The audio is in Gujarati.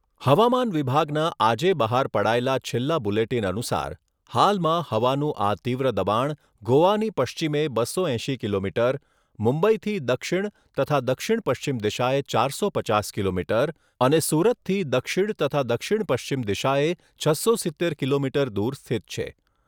હવામાન વિભાગના આજે બહાર પડાયેલા છેલ્લા બુલેટિન અનુસાર હાલમાં હવાનું આ તીવ્ર દબાણ ગોવાની પશ્ચિમે બસો એંશી કિલોમીટર, મુંબઈથી દક્ષિણ તથા દક્ષિણ પશ્ચિમ દિશાએ ચારસો પચાસ કિલોમીટર અને સુરતથી દક્ષિણ તથા દક્ષિણ પશ્ચિમ દિશાએ છસો સિત્તેર કિલોમીટર દૂર સ્થિત છે.